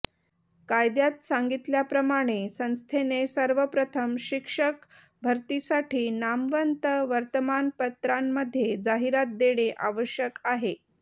कायद्यात सांगितल्याप्रमाणे संस्थेने सर्वप्रथम शिक्षक भरतीसाठी नामवंत वर्तमानपत्रांमध्ये जाहिरात देणे आवश्यक आहे